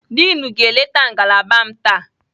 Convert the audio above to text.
Diin ga-eleta ngalaba m taa.